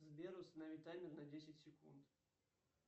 сбер установи таймер на десять секунд